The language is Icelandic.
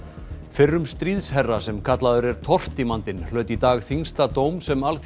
fyrrum stríðsherra sem kallaður er tortímandinn hlaut í dag þyngsta dóm sem